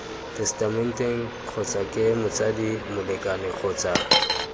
tesetamenteng kgotsake motsadi molekane kgotsa